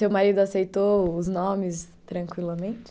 Seu marido aceitou os nomes tranquilamente?